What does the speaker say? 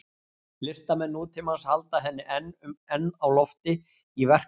Listamenn nútímans halda henni enn á lofti í verkum sínum.